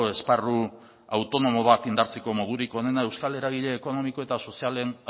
esparru autonomo bat indartzeko modurik onena euskal eragile ekonomiko eta sozialen